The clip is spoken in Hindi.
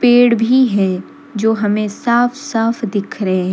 पेड़ भी है जो हमें साफ साफ दिख रहे हैं।